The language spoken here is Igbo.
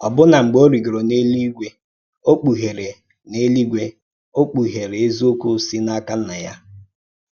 Ọ̀bụ̀nà mgbe ó rìgòrọ̀ n’èlúígwè, ó kpùghèrè n’èlúígwè, ó kpùghèrè èzíòkwú sī n’ákà Nnà Yá.